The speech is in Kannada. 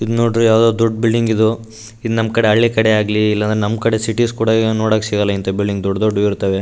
ಇದ್ ನೋಡ್ರೆ ಯಾವದೊ ದೊಡ್ಡ್ ಬಿಲ್ಡಿಂಗ್ ಇದು ಈದ್ ನಂಕಡೆ ಹಳ್ಳಿ ಕಡೆ ಆಗ್ಲಿ ಇಲ್ಲ ನಮ್‌ ಕಡೆ ಸಿಟಿ ಕುಡ ನೋಡಕ್ ಸಿಗಲ್ಲ ಇಂತವ ಬಿಲ್ಡಿಂಗ ದೊಡ್ಡ ದೊಡ್ಡು ಇರ್ತವೆ.